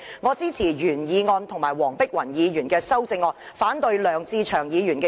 我支持原議案和黃碧雲議員的修正案，反對梁志祥議員的修正案。